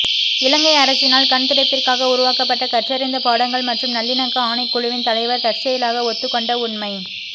இலங்கை அரசினால் கண்துடைப்பிற்காக உருவாக்கப்பட்ட கற்றறிந்த பாடங்கள் மற்றும் நல்லிணக்க ஆணைக்குழுவின் தலைவர் தற்செயலாக ஒத்துக்கொண்ட உண்மை